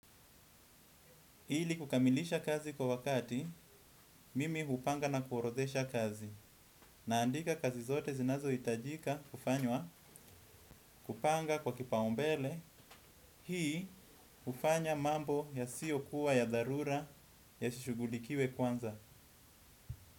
Ili kukamilisha kazi kwa wakati, mimi hupanga na kuorodhesha kazi. Naandika kazi zote zinazohitajika kufanywa kupanga kwa kipaombele. Hii hufanya mambo yasiyokuwa ya dharura yashughulikiwe kwanza.